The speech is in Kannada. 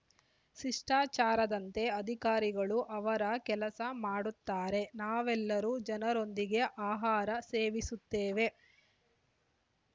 ಶಿಷ್ಟಾಚಾರದಂತೆ ಅಧಿಕಾರಿಗಳು ಅವರ ಕೆಲಸ ಮಾಡುತ್ತಾರೆ ನಾವೆಲ್ಲರೂ ಜನರೊಂದಿಗೆ ಆಹಾರ ಸೇವಿಸುತ್ತೇವೆ